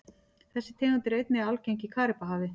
Þessi tegund er einnig algeng í Karíbahafi.